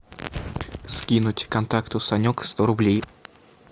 скинуть контакту санек сто рублей